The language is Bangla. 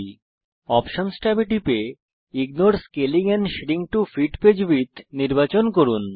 অপশনস ট্যাবে টিপুন এবং ignore scaling and shrink to fit page width নির্বাচন করুন